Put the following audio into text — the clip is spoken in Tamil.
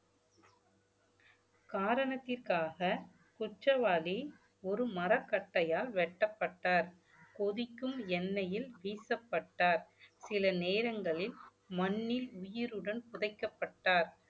காரணத்திற்காக குற்றவாளி ஒரு மரக்கட்டையால் வெட்டப்பட்டார் கொதிக்கும் எண்ணெயில் வீசப்பட்டார் சில நேரங்களில் மண்ணில் உயிருடன் புதைக்கப்பட்டார்